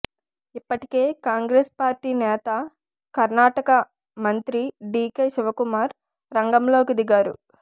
ఇప్పటికే కాంగ్రెస్ పార్టీ నేత కర్నాటక మంత్రి డీకే శివకుమార్ రంగంలోకి దిగారు